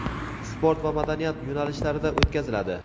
sport va madaniyat yo‘nalishlarida o‘tkaziladi.